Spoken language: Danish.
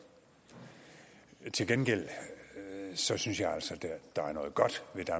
til gengæld synes synes jeg altså der er noget godt ved